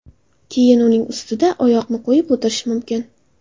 Keyin uning ustida oyoqni qo‘yib o‘tirish mumkin.